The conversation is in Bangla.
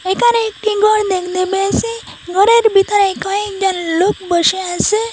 একানে একটি গর দেখতে পেয়েছি গরের ভিতরে কয়েকজন লোক বসে আছে।